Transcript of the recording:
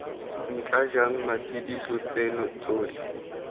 ntla jang matshediso tseno tsotlhe